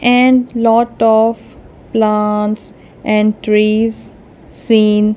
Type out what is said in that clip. and lot of plants and trees seen.